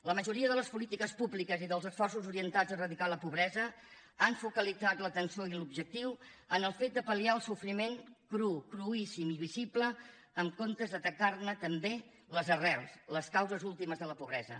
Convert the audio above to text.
la majoria de les polítiques públiques i dels esforços orientats a eradicar la pobresa han focalitzat l’atenció i l’objectiu en el fet de pal·liar el sofriment cru cruíssim i visible en comptes d’atacar ne també les arrels les causes últimes de la pobresa